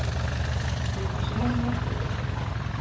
екінші мағына келесі ұрпақ